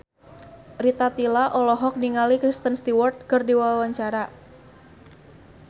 Rita Tila olohok ningali Kristen Stewart keur diwawancara